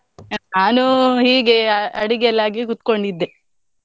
ನಾನು ಹೀಗೆ ಅಡಿಗೆ ಎಲ್ಲ ಆಗಿ ಕೂತ್ಕೊಂಡಿದ್ದೆ .